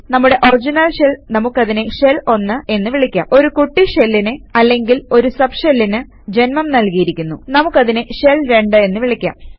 നമ്മുടെ original shell നമുക്കതിനെ shell 1 എന്ന് വിളിക്കാം ഒരു കുട്ടി ഷെല്ലിന് അല്ലെങ്കിൽ ഒരു സബ് ഷെല്ലിന് ജന്മം നല്കിയിരിക്കുന്നു നമുക്കതിനെ ഷെൽ 2 എന്ന് വിളിക്കാം